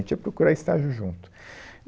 A gente ia procurar estágio junto.